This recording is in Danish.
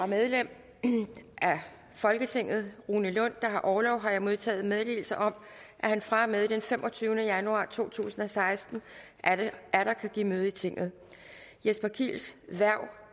medlem af folketinget rune lund der har orlov har jeg modtaget meddelelse om at han fra og med den femogtyvende januar to tusind og seksten atter kan give møde i tinget jesper kiels hverv